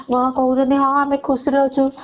କଣ କହୁଛନ୍ତି ହଁ ଆମେ ଖୁସିରେ ଅଛୁ